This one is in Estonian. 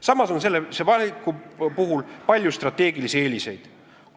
Samas on selle valiku puhul palju strateegilisi eeliseid.